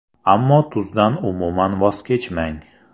Ammo tuzdan umuman voz kechmang.